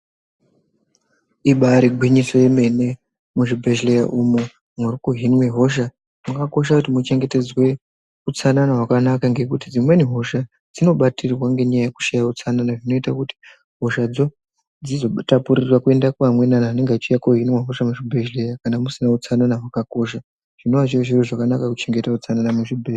Ibaari gwinyiso yemene muzvibhedhlera umu muri kuhinwe hosha zvakakosha kuti muchengetedzwe utsanana hwakanaka ngekuti dzimweni hosha dzinobatirwa ngenyaya yekushaye utsanana zvinoite kuti hoshadzo dzizotapurire kuende pamweni anhu eanenge achiuye koohinwe hosha muzvibhedhlera kana musina utsanana hwakakosha zvinoa zviri zviro zvakanaka kuchengetedza utsanana muzvibhedhlera.